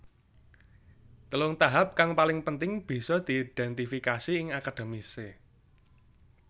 Telung tahap kang paling penting bisa diidentifikasi ing akademise